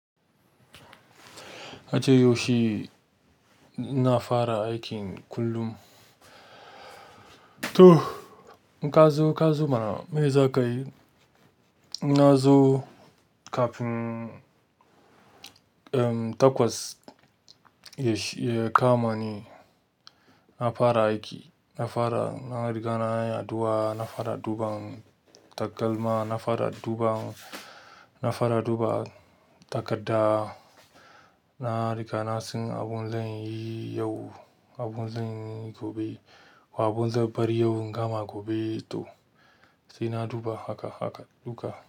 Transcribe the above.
Kace yaushe, na fara aikin kullum. To, kazo, kazo mana me za ka yi? Na zo kafin, um, takwas shi, ya kama ni. Na fara aiki, na fara, na riga na yi addu'a, na fara duba takalma, na fara dubawa, na fara duba takarda. Na riga na san abin zan yi yau, abin zan yi gobe ko abin zan bari yau in gama gobe to. Sai na duba haka haka duka.